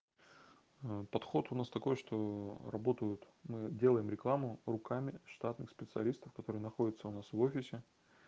а подход у нас такой что работают мы делаем рекламу руками штатных специалистов которые находятся у нас в офисе